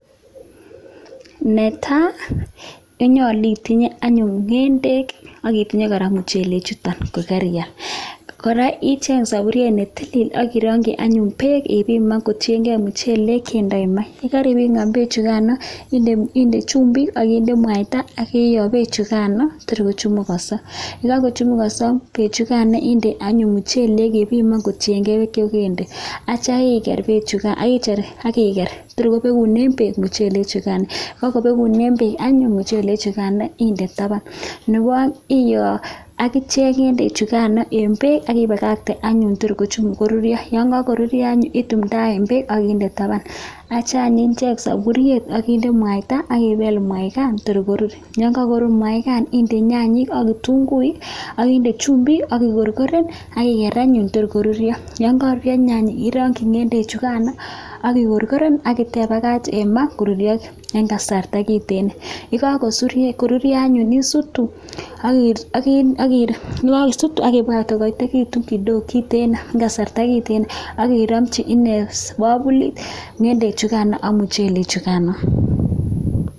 Ne tai, konyolu itinye anyun ngendek akitinye kora muchelek chouton kokarial, kora icheng sapuriet ne tilil ak irongchi anyun beek akipimane kotiengei muchelek che ndoi maa, ye karipiman beechukan, indoi chumbik akinde mwaita iyoo beechukan tor kochemukanso, ye kakochemukanso beechukan inde anyun muchelek ipiman kotiengei beek chekekende atya iker beechukan tor kobekune beek muchelek chukan, kakobekune beek muchelek chekan anyun inde taban. Nebo aeng, iyoo akichek ngendek chekano eng beek aki pakakten anyun tor koruryo, yon kakoruryo anyun idumdaen beek akinde taban atyo anyun icheng sapuriet akinde mwaita akipeel mwaikan tor koruur, yon kakoruur mwaikan inde nyanyik ak itunguik akinde chumbik aki korkoren akigeer anyun tor koruuryo, yon kakoruuryo nyanyik irongchi ngendek chukan akikorkoren ako tepakach eng maa koruryo eng kasarta kitiin. Ye kakoruuryo anyun isuutu akipakach kouuryo kiteen eng kasarta kiteen ak kiramchi bakuli ngendek chukan ak muchelek chukano.